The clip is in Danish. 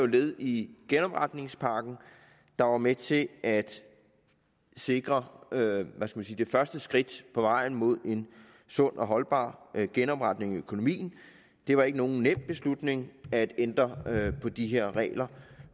led i genopretningspakken der var med til at sikre det første skridt på vejen mod en sund og holdbar genopretning af økonomien det var ikke nogen nem beslutning at ændre på de her regler